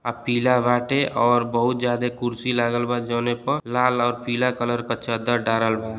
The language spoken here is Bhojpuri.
आ पीला बाटे और बहुत ज्यादा कुर्सी लगल बा जोनिप लाल और पीला कलर का चद्दर डालल बा।